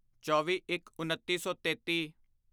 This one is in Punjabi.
ਚੌਵੀਇੱਕਉੱਨੀ ਸੌ ਤੇਤੀ